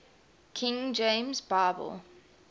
king james bible